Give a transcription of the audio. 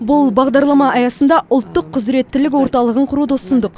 бұл бағдарлама аясында ұлттық құзыреттілік орталығын құруды ұсындық